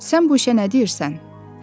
Sən bu işə nə deyirsən?